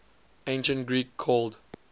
ancient greek called